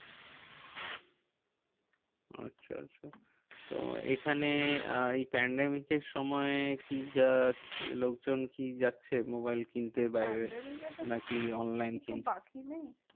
আচ্ছা আচ্ছা তো এখানে আর এই pandemic এর সময় কি লোকজন কি যাচ্ছে, মোবাইল কিনতে বাইরে? pandemic এ তো নাকি online কিনছে? বাকি নেই